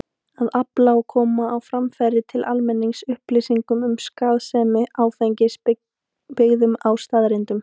Að afla og koma á framfæri til almennings upplýsingum um skaðsemi áfengis, byggðum á staðreyndum.